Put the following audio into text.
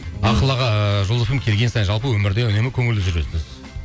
ақыл аға ыыы жұлдыз эф эм ге келген сайын жалпы өмірде үнемі көңілді жүресіз